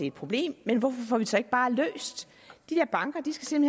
et problem men hvorfor får vi det så ikke bare løst de der banker skal